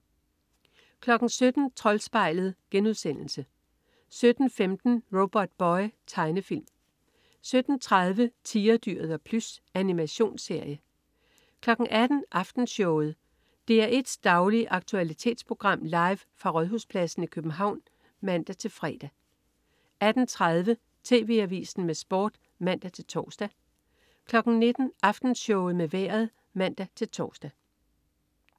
17.00 Troldspejlet* 17.15 Robotboy. Tegnefilm 17.30 Tigerdyret og Plys. Animationsserie 18.00 Aftenshowet. DR1s daglige aktualitetsprogram, live fra Rådhuspladsen i København (man-fre) 18.30 TV Avisen med Sport (man-tors) 19.00 Aftenshowet med Vejret (man-tors)